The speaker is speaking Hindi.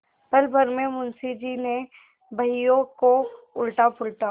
पलभर में मुंशी जी ने बहियों को उलटापलटा